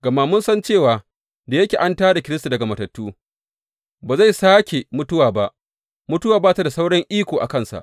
Gama mun san cewa da yake an tā da Kiristi daga matattu, ba zai sāke mutuwa ba; mutuwa ba ta da sauran iko a kansa.